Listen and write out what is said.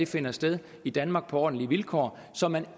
finder sted i danmark på ordentlige vilkår så man